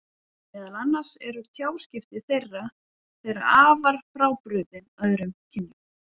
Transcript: Meðal annars eru tjáskipti þeirra þeirra afar frábrugðin öðrum kynjum.